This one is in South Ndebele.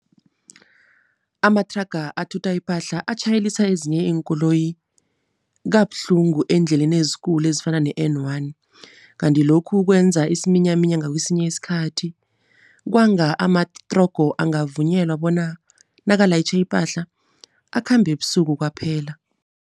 Amathraga athutha ipahla atjhayelisa ezinye iinkoloyi kabuhlungu eendleleni ezikulu ezifana ne-N one. Kanti lokhu kwenza isiminyaminya ngakwesinye isikhathi. Kwanga amatrogo angavunyelwa bona nakalayitjhe ipahla, akhambe ebusuku kwaphela.